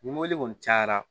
Ni mɔbili kɔni cayara